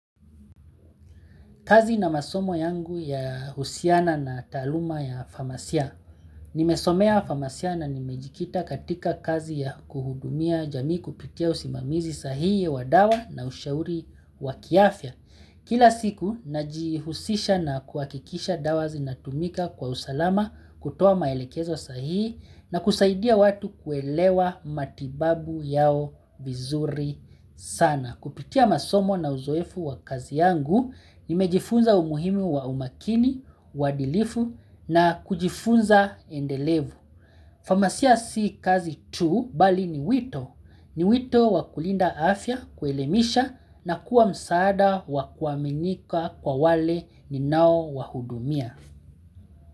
Kazi na masomo yangu ya husiana na taaluma ya famasia. Nimesomea famasia na nimejikita katika kazi ya kuhudumia jamii kupitia usimamizi sahihi wa dawa na ushauri wa kiafya. Kila siku, najihusisha na kuhakikisha dawa zinatumika kwa usalama kutoa maelekezo sahihi na kusaidia watu kuelewa matibabu yao vizuri sana. Kupitia masomo na uzoefu wa kazi yangu, nimejifunza umuhimu wa umakini, uadilifu na kujifunza endelevu. Famasia si kazi tu, bali ni wito. Ni wito wa kulinda afya, kuelemisha na kuwa msaada wakuaminika kwa wale ni nao wahudumia.